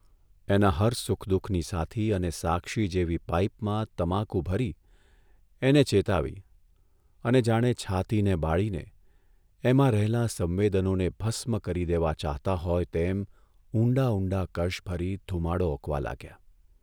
એના હર સુખ દુઃખની સાથી અને સાક્ષી જેવી પાઇપમાં તમાકુ ભરી એને ચેતાવી અને જાણે છાતીને બાળીને, એમાં રહેલાં સંવેદનોને ભસ્મ કરી દેવા ચાહતા હોય તેમ ઊંડા ઊંડા કશ ભરી ધુમાડો ઓકવા લાગ્યા.